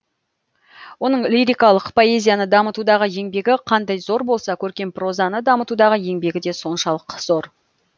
оның лирикалық поэзияны дамытудағы еңбегі қандай зор болса көркем прозаны дамытудағы еңбегі де соншалық зор